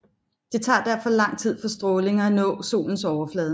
Det tager derfor lang tid for stråling at nå solens overflade